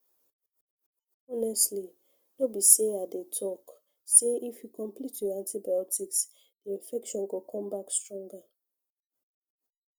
honestly no be say i dey talk say if you complete your antibiotics the infection go come back stronger